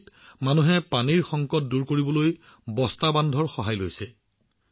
খুণ্টিৰ মানুহে চেক বান্ধৰ জৰিয়তে পানীৰ সংকটৰ পৰা মুক্তি পোৱাৰ পথ বিচাৰি পাইছে